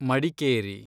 Madikeri